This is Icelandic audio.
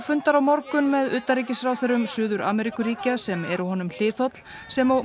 fundar á morgun með utanríkisráðherrum Suður Ameríkuríkja sem eru honum hliðholl sem og